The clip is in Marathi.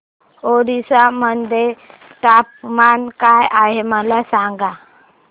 ओरिसा मध्ये तापमान काय आहे मला सांगा